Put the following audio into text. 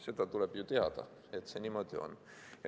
Seda tuleb ju teada, et see niimoodi on.